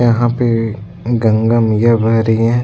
यहाँ पे गंगा मैया बह रही है ।